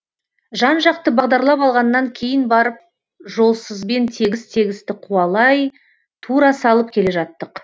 жан жақты бағдарлап алғаннан кейін барып жолсызбен тегіс тегісті қуалай тура салып келе жаттық